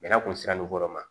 Bɛnɛ kun sera lu kɔrɔ ma